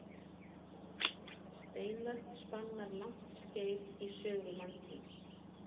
Steinöld spannar langt skeið í sögu mannkyns.